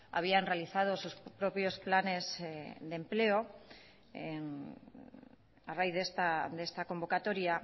habían realizados sus propios planes de empleo a raíz de esta convocatoria